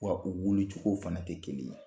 Wa u wuli cogo fana tɛ kelen ye.